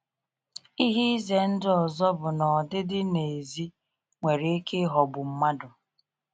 Ihe ize ndụ ọzọ bụ na ọdịdị n’èzí nwere ike ịghọgbu mmadụ.